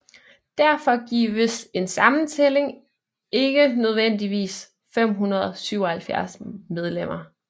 Derfor giver en sammentælling ikke nødvendigvis 577 medlemmer